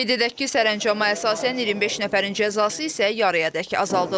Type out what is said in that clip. Qeyd edək ki, sərəncama əsasən 25 nəfərin cəzası isə yarıyadək azaldılıb.